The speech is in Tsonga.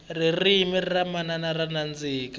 ririmi ra manana ra nandzika